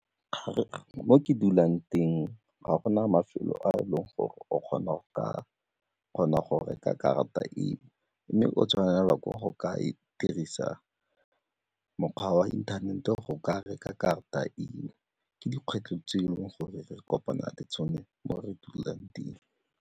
Mo ke dulang teng, ga gona mafelo a e leng gore o kgona go reka karata eo mme o tshwanelwa ke go ka dirisa mokgwa wa inthanete go ka reka karata eo, ke dikgwetlho tse e leng gore re kopana le tsone mo re dulang teng.